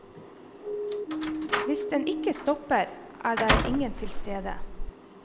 Hvis den ikke stopper, er det ingen tilstede.